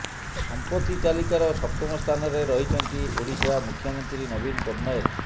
ସଂପତ୍ତି ତାଲିକାର ସପ୍ତମ ସ୍ଥାନରେ ରହିଛନ୍ତି ଓଡ଼ିଶା ମୁଖ୍ୟମନ୍ତ୍ରୀ ନବୀନ ପଟ୍ଟନାୟକ